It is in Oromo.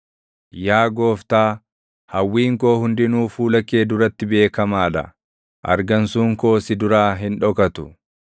Yaa Gooftaa, hawwiin koo hundinuu fuula kee duratti beekamaa dha; argansuun koo si duraa hin dhokatu.